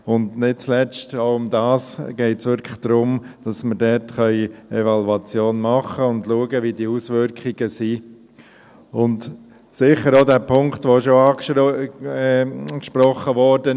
Und nicht zuletzt geht es wirklich auch darum, dass wir dort eine Evaluation machen und schauen können, wie die Auswirkungen sind, und sicher auch den Punkt, der bereits angesprochen wurde: